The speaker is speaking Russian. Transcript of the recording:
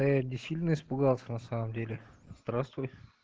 а я не сильно испугался на самом деле здравствуй